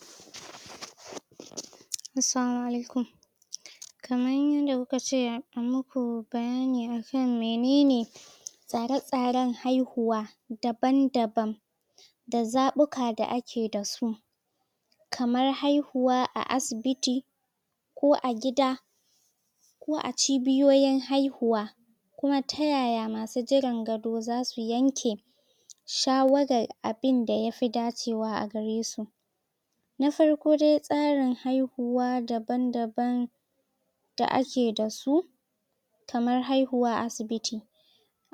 ? Assalamu Alaikum.? Kamar yadda kuka ce ayi muku bayani akan menene,? tsaratsaran haihuwa daban daban. da zaɓuka da ake dasu.? Kamar haihuwa a asibiti,? ko a gida,? ko a ciboyoyin haihuwa.? Kuma ta yaya masu jiran gado zasu yanke,? shawarar abunda ya fi dacewa a garesu?? Na farko dai tsarin haihuwa daban_daban,? da ake dasu,? kamar haihuwa a asibii.?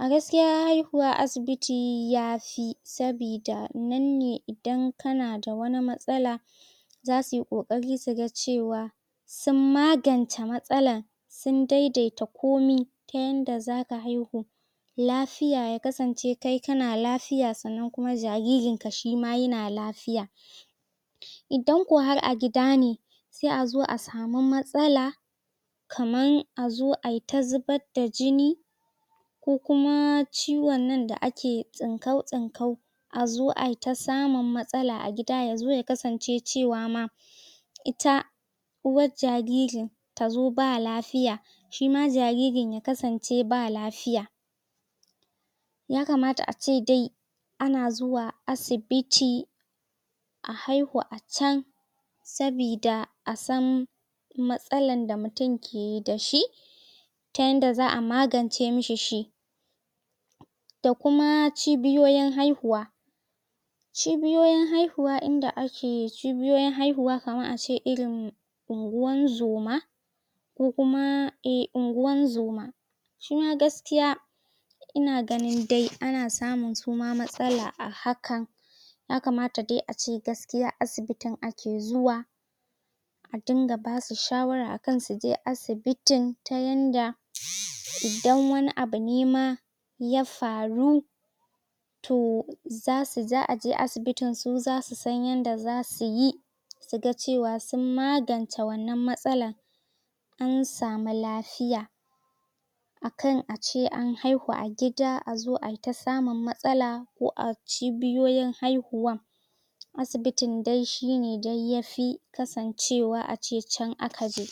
A gaskiya haihuwa a asibiti yafi. Saboda nan ne idan kanada wani matsala,? za suyi ƙoƙari suga cewa,? sun magance matsalar.? Sun daidaita komai, ta yadda zaka haihu, lafiya ya kasance kai kana lafiya sannan kuma jaririnka shima yana lafiya.? Idan ko har a gida ne,? sai a zo a samu matsala.? Kamar a zo aita zubar da jini,? ko kuma ciwannan da ake tsinkau-tsinkau. A zo ai ta samun matsala a gida yazo ya kasance cewa ma,? ita,? uwar jaririn tazo ba lafiya shima jaririn ya kasance shima ba lafiya.? Ya kamata ace dai ana zuwa asibiti.? A haihu a can,? sabida a san matsalar da mutum ke da shi,? ta yadda za'a magance mishi shi.? Da kuma cibiyoyin haihuwa.? Cibiyoyin haihuwa inda ake, cibiyoyin haihuwa kamar ace irin unguwan zuma,? ko kuma eh unguwar zuma.? Su ma gaskiya,? ina gani dai a na samun suma matsala a hakan.? Ya kamata dai ace gaskiya asibitin ake zuwa.? a dinga basu shawara a kan suje asibitin, ta yadda idan wani abu ne ma,? ya faru,? toh za'a je asibitin su zasu san yadda za suyi,ɓ? suga cewa sun magance wannan matsalan,.? an samu lafiya.? Akan ace an haihu a gida a zo aita samun matsala. Ko a cibiyoyin haihuwan,? Asibitin dai shi ne dai yafi kasancewa ace can aka je.